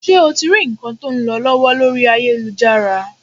Ṣé o ti rí nǹkan tó ń lọ lọ́wọ́ lórí ayélujára?